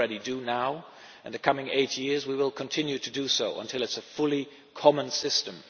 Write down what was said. We already do now, and in the coming eight years we will continue to do so until it is a fully common system.